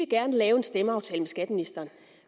gerne lave en stemmeaftale med skatteministeren